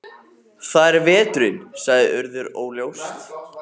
Það er veturinn- sagði Urður óljóst.